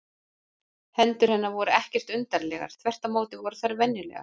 Hendur hennar voru ekkert undarlegar, þvert á móti voru þær venjulegar.